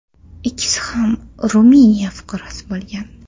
Ikkisi ham Ruminiya fuqarosi bo‘lgan.